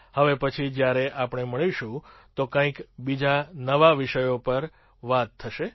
હવે પછી જ્યારે આપણે મળીશું તો કંઈક બીજા નવા વિષયો પર વાત થશે